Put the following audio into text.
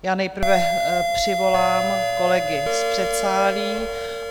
Já nejprve přivolám kolegy z předsálí.